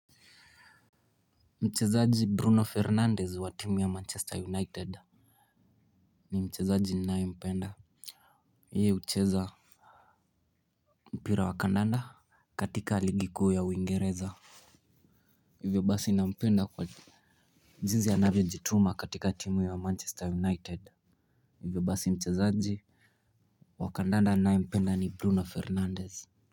Mchezaji Bruno Fernandez wa timu ya Manchester United. Ni mchezaji ninayempenda yeye hucheza. Mpira wa kandanda katika ligi kuu ya uingereza. Hivyo basi nampenda kwa jinsi anavyojituma katika timu ya Manchester United. Hivyo basi mchezaji wa kandanda ninayempenda ni Bruno Fernandes.